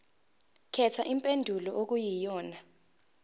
khetha impendulo okuyiyona